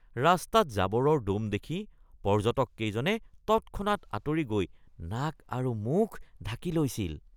ৰাস্তাত জাবৰৰ দ'ম দেখি পৰ্যটককেইজনে তৎক্ষণাত আঁতৰি গৈ নাক আৰু মুখ ঢাকি লৈছিল।